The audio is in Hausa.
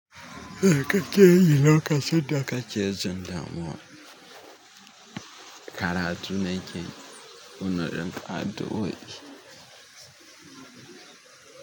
Me kake yi lokacin da kake jin damuwa. Karatu ne ko nayi 'yan addu'o'i.